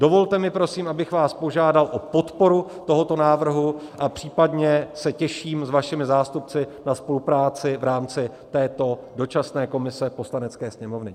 Dovolte mi prosím, abych vás požádal o podporu tohoto návrhu, a případně se těším s vašimi zástupci na spolupráci v rámci této dočasné komise Poslanecké sněmovny.